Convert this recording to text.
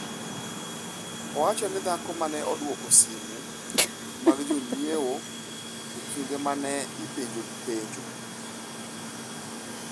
‘Owacho ni dhako ma ne dwoko simu mag jonyiewo e kinde ma ne ipenjogi penjo.